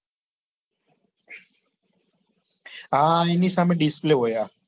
હા એની સામે display હોય આ